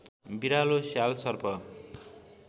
बिरालो स्याल सर्प